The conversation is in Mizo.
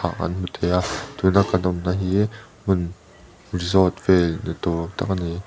an hmu thei a tuna kan awm na hi hmun resort vel ni tur tak a ni.